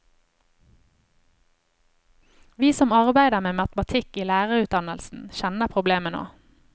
Vi som arbeider med matematikk i lærerutdannelsen, kjenner problemet nå.